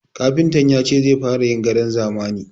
Kafintan ya ce zai fara yin gadon zamani.